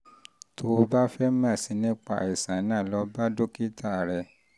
tó o bá fẹ́ mọ̀ sí i nípa àìsàn àìsàn náà lọ bá dókítà rẹ